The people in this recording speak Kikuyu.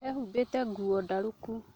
Ehumbĩte nguo ndarũku